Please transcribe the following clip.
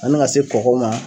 Ani ka se kɔgɔw ma.